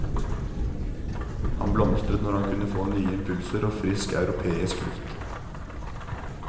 Han blomstret når han kunne få nye impulser og frisk europeisk luft.